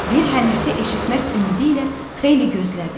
Bir hənirti eşitmək ümidi ilə xeyli gözlədi.